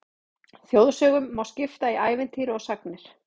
Þjóðsögum má skipta í ævintýri og sagnir.